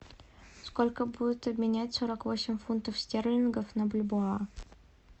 сколько будет обменять сорок восемь фунтов стерлингов на бальбоа